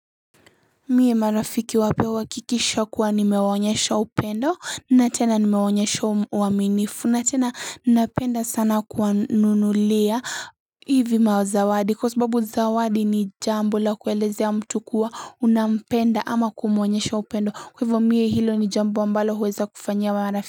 Mie marafiki wapya huwakikisha kuwa nimewonyesha upendo na tena nimewonyesha uaminifu na tena napenda sana kuwa nunulia hivi mazawadi kwa sababu zawadi ni jambo la kuelezea mtu kuwa unapenda ama kumuonyesha upendo kwa hivo mie hilo ni jambo ambalo huweza kufanyia wa marafiki.